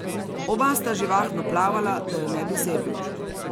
Oba sta živahno plavala, da ju ne bi zeblo.